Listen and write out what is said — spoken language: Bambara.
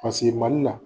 Paseke mali la